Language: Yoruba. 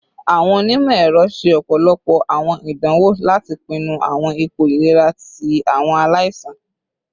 Awọn onimọ-ẹrọ ṣe ọpọlọpọ awọn idanwo lati pinnu awọn ipo ilera ti awọn alaisan